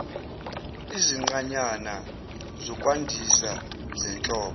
izinqanyana zokwandisa zenhlobo